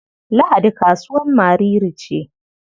Lahadi kasuwar Mariri ce.